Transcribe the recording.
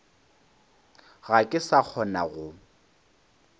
ga ke sa kgona go